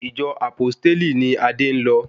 Ìjọ Àpósítélì ni Adé ń lọ